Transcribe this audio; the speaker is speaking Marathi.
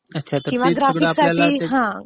अच्छा. तर ते सगळं आपल्याला...